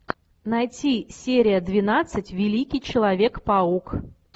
найти серия двенадцать великий человек паук